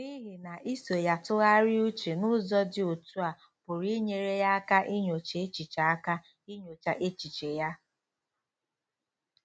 N'ihi na iso ya tụgharịa uche n'ụzọ dị otú a pụrụ inyere ya aka inyocha echiche aka inyocha echiche ya.